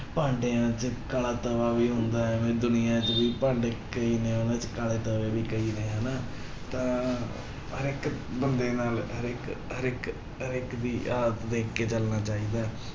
ਭਾਂਡਿਆਂ ਚ ਕਾਲਾ ਤਵਾ ਵੀ ਹੁੰਦਾ ਹੈ, ਐਵੇਂ ਦੁਨੀਆਂ ਚ ਵੀ ਭਾਂਡੇ ਕਈ ਨੇ ਉਹਨਾਂ ਚ ਕਾਲੇ ਤਵੇ ਵੀ ਕਈ ਨੇ ਹਨਾ, ਤਾਂ ਹਰੇਕ ਬੰਦੇ ਨਾਲ ਹਰੇਕ, ਹਰੇਕ, ਹਰੇਕ ਦੀ ਹਾਲਤ ਦੇਖ ਕੇ ਚੱਲਣਾ ਚਾਹੀਦਾ ਹੈ।